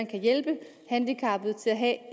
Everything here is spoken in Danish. kan hjælpe de handicappede til at